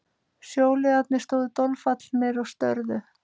Sjóliðarnir stóðu dolfallnir og störðu.